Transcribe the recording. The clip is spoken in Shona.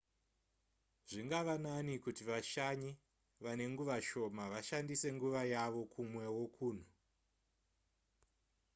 zvingave nani kuti vashanyi vane nguva shoma vashandise nguva yavo kumwewo kunhu